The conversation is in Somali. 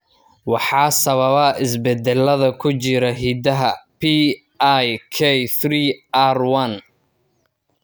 Waxaa sababa isbeddellada ku jira hiddaha PIK3R1.